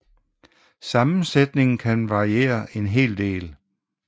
Sammensætningen kan variere en hel del